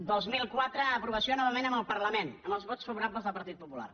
el dos mil quatre aprovació novament al parlament amb els vots favorables del partit popular